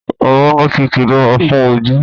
Amúnútutù dára fún ojú